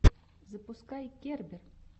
запускай кербер